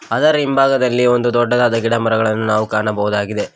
ಅದರ ಹಿಂಭಾಗದಲ್ಲಿ ಒಂದು ದೊಡ್ಡದಾದ ಗಿಡ ಮರಗಳನ್ನು ನಾವು ಕಾಣಬಹುದಾಗಿದೆ.